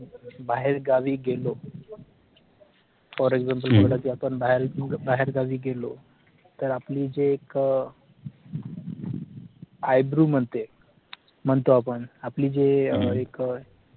बाहेरगावी गेलो for example बोला की आपण बाहेर बाहेरगावी गेलो तर आपली जे एक अह आय बृ म्हणते म्हणतो आपण आपली जे अह एक अह